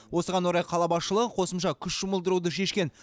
осыған орай қала басшылығы қосымша күш жұмылдыруды шешкен